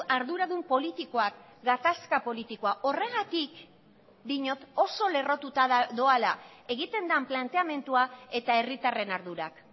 arduradun politikoak gatazka politikoa horregatik diot oso lerrotuta doala egiten den planteamendua eta herritarren ardurak